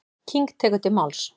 King tekur til máls.